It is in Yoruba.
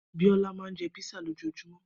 Biola ma ń jẹ́ písà lójojúmó.